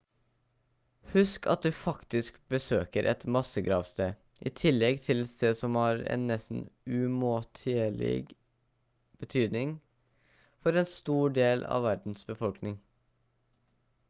husk at du faktisk besøker et massegravsted i tillegg til et sted som har en nesten umåtelig betydning for en stor del av verdens befolkning